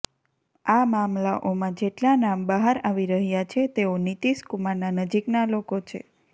આ મામલાઓમાં જેટલા નામ બહાર આવી રહ્યાં છે તેઓ નીતીશકુમારનાં નજીકના લોકો છે